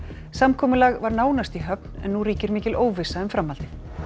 samkomulag var nánast í höfn en nú ríkir mikil óvissa um framhaldið